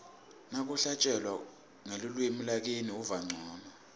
nakuhlatjelwa ngelulwimi lakini uva ncono